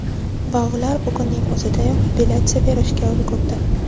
Va ular bugunning o‘zidayoq appelyatsiya berishga ulgurdi .